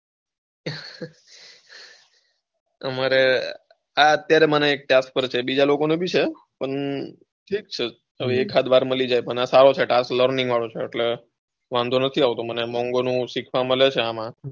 અમારે અત્યારે મારે આ task મળ્યો છે બીજા લોકો ને બી છે. પણ ઠીક છે એકાદ વાર મળી જાય પણ આ સારું છે task, learning વાળો છે એટલે વાંધો નથી આવતો શીખવા મળે છે મને,